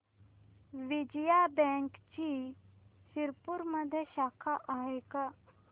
विजया बँकची शिरपूरमध्ये शाखा आहे का